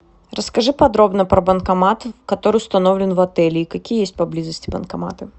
расскажи подробно про банкомат который установлен в отеле и какие есть поблизости банкоматы